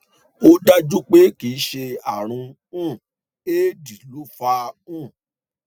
ó dájú pé kìí ṣe ààrùn um éèdì ló fà á um